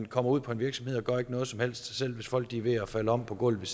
kommer ud på en virksomhed og ikke gør noget som helst selv hvis folk er ved at falde om på gulvet